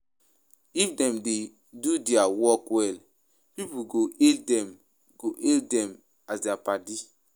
If dem dey do their work well, pipo go hail dem go hail dem as their padi